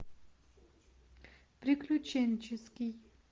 приключенческий